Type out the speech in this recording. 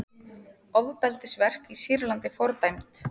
Ofbeldisverk í Sýrlandi fordæmd